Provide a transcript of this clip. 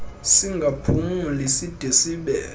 singaphumli side sibe